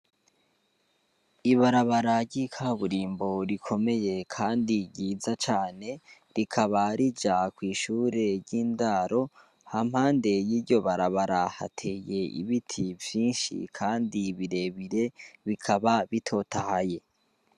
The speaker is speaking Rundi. Ibarabara ry'ikaburimbo rikomeye kandi ryiza cane rikaba rija kw'ishure ryindaro ahampande y'iryo barabara hateye ibiti vyinshi kandi birebire bikaba bitotahaye